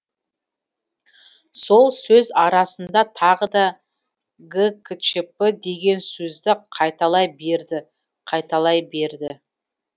сол сөз арасында тағы да гкчп деген сөзді қайталай берді қайталай берді